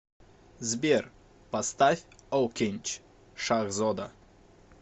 сбер поставь окинч шахзода